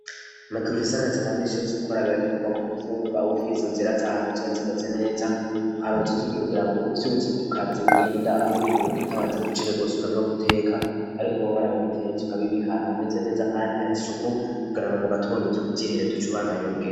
Makiufise akazi kamisi yose ukbara birakenerwa ku nkifunguka agufize uzera zahantu zibazimeze neza uharoz itegye kugira ngo uvyuzi ku kazi ugenda awihuta utabanze gucire gosumira mwo guteka, ariko babari bo bitezuka bibikantu hameze neza, kandi hari suku kugira ngo mu gatonda uvyo ukuvyihereza uco ubandanya urugea.